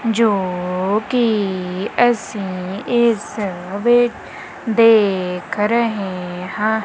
ਜੋ ਕਿ ਅਸੀਂ ਇਸ ਵਿੱਚ ਦੇਖ ਰਹੇ ਹਾਂ।